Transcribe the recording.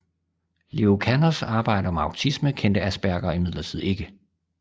Leo Kanners arbejde om autisme kendte Asperger imidlertid ikke